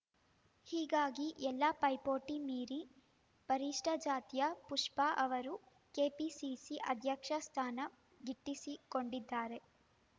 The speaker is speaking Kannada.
ಹೀಗಾಗಿ ಎಲ್ಲಾ ಪೈಪೋಟಿ ಮೀರಿ ಪರಿಷ್ಟಜಾತಿಯ ಪುಷ್ಪ ಅವರು ಕೆಪಿಸಿಸಿ ಅಧ್ಯಕ್ಷ ಸ್ಥಾನ ಗಿಟ್ಟಿಸಿಕೊಂಡಿದ್ದಾರೆ